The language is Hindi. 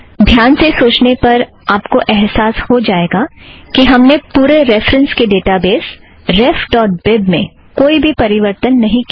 ध्यान से सोचने पर आपको एहसास हो जाएगा कि हमने पूरे रेफ़रन्सस् के ड़ेटाबेज़ रेफ़ ड़ॉट बीब refबीब में कोई भी परिवर्तन नहीं किया है